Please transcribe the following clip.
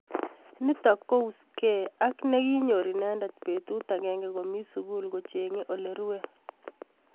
Nitok ko uskee ak negiinyor inendet betut agenge komii sugul kochengee ole rue